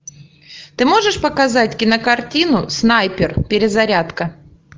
ты можешь показать кинокартину снайпер перезарядка